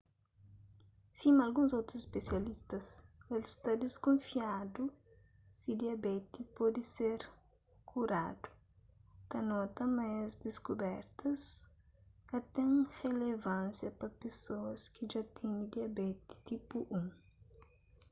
sima alguns otus spesialistas el sta diskunfiadu si diabeti pode ser kuradu ta nota ma es diskubertas ka ten relevansia pa pesoas ki dja tene diabeti tipu1